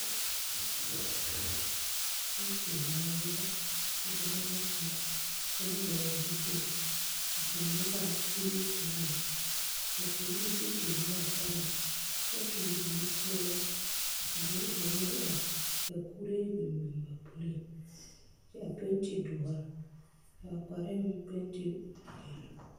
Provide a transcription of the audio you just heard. Pɔmpe malba la dɔba bata ka kaŋ vɔgle zupili ka kaŋ nyɔge a kuruu taa lɛ ka kaŋ meŋ sigi te nyɔge a pareŋ kyɛ tuŋ nutoore ka dɔɔ kaŋa meŋ are ka kuree biŋ biŋ ba puliŋ kyɛ a penti doɔre ba wa parɛɛ penti zeere.